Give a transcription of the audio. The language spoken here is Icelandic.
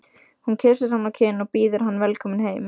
Hún kyssir hann á kinn og býður hann velkominn heim.